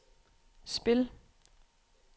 spil